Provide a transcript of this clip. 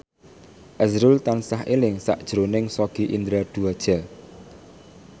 azrul tansah eling sakjroning Sogi Indra Duaja